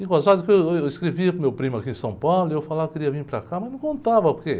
Eu escrevia para o meu primo aqui em São Paulo e eu falava que queria vir para cá, mas não contava o por quê